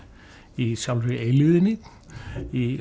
í sjálfri eilífðinni í